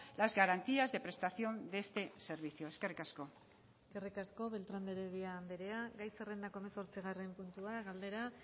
las garantías de prestación de este servicio eskerrik asko eskerrik asko beltrán de heredia andrea gai zerrendako hemezortzigarren puntua galdera